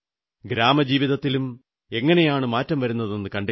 ഗ്രാമജീവിതത്തിലും എങ്ങനെയാണു മാറ്റം വരുന്നതെന്നു കണ്ടില്ലേ